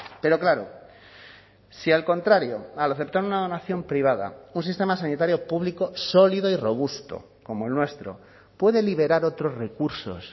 pero claro si al contrario al aceptar una donación privada un sistema sanitario público sólido y robusto como el nuestro puede liberar otros recursos